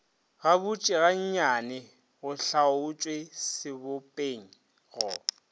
gabotse gannyane go hlaotšwe sebopego